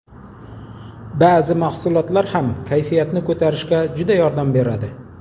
Ba’zi mahsulotlar ham kayfiyatni ko‘tarishga juda yordam beradi.